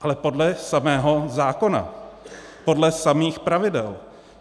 Ale podle samého zákona, podle samých pravidel.